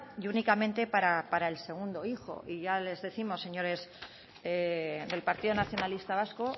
y únicamente para el segundo hijo y ya les décimos señores del partido nacionalista vasco